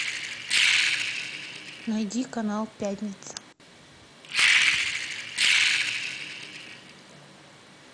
найди канал пятница